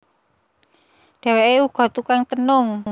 Dheweké uga tukang tenung